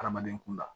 Adamaden kunda